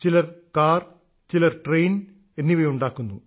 ചിലർ കാർ ചിലർ ട്രെയിൻ ഉണ്ടാക്കുന്നു